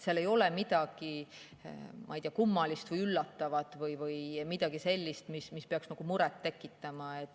Seal ei ole midagi kummalist või üllatavat või midagi sellist, mis peaks muret tekitama.